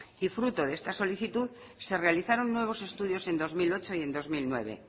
y fruto de esta solicitud se realizaron nuevos estudios en dos mil ocho y en dos mil nueve